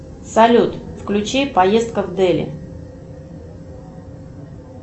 салют включи поездка в дели